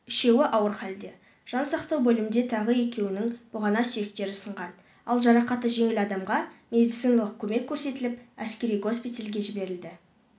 үшеуі ауыр халде жансақтау бөлімінде тағы екеуінің бұғана сүйектері сынған ал жарақаты жеңіл адамға медициналық көмек көрсетіліп әскери госпитальге жіберілді